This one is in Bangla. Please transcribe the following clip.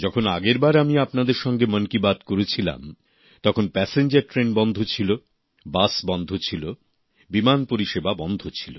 যখন আগের বার আমি আপনাদের সঙ্গে মন কি বাত করেছিলাম তখন প্যাসেঞ্জার ট্রেন বন্ধ ছিল বাস বন্ধ ছিল বিমান পরিষেবা বন্ধ ছিল